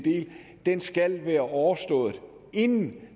del skal være overstået inden